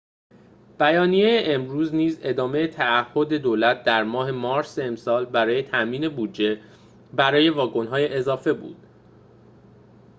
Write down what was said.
بیانیه امروز نیز ادامه تعهد دولت در ماه مارس امسال برای تأمین بودجه برای واگن‌های اضافه بود